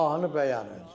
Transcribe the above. Mahnı bəyənildi.